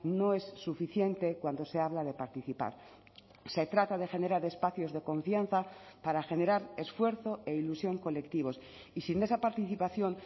no es suficiente cuando se habla de participar se trata de generar espacios de confianza para generar esfuerzo e ilusión colectivos y sin esa participación